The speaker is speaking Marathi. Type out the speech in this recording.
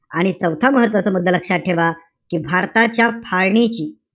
आणि चौथा महत्वाचा मुद्दा लक्षात ठेवा. कि भारताच्या फाळणीची,